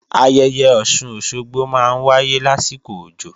Ayẹyẹ Ọ̀sun-Òsogbo máa ń wáyé lásìkò òjò